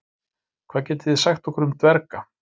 Hvað getið þið sagt okkur um dverga?